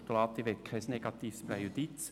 Ich möchte kein negatives Präjudiz.